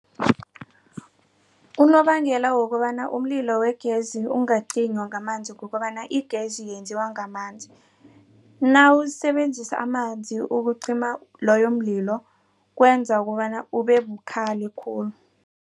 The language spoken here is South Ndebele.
Unobangela wokobana umlilo wegezi ungacinywa ngamanzi kukobana igezi yenziwa ngamanzi. Nawusebenzisa amanzi ukucima loyo mlilo kwenza kobana ubebukhali khulu.